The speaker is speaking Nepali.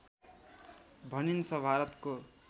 भनिन्छ भारतको